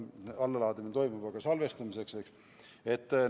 Õigemini allalaadimine toimub, aga salvestamiseks voogedastust ei kasutata.